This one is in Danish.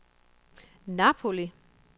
Napoli